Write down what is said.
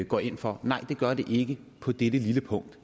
går ind for nej det gør det ikke på dette lille punkt